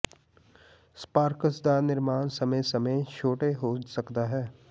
Sparks ਦਾ ਨਿਰਮਾਣ ਸਮੇਂ ਸਮੇਂ ਛੋਟਾ ਹੋ ਸਕਦਾ ਹੈ